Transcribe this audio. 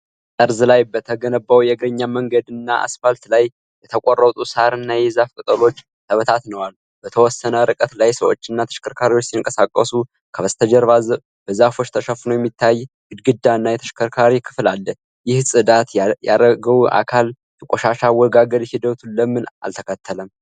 ጠርዝ ላይ በተገነባው የእግረኛ መንገድና አስፋልት ላይ የተቆረጡ ሳርና የዛፍ ቅጠሎች ተበታትነዋል። በተወሰነ ርቀት ላይ ሰዎችና ተሽከርካሪዎች ሲንቀሳቀሱ፣ ከበስተጀርባ በዛፎች ተሸፍኖ የሚታይ ግድግዳና የተሽከርካሪ ክፍል አለ። ይህ ጽዳት ያረገው አካል የቆሻሻ አወጋገድ ሂደቱን ለምን አልተከተለም?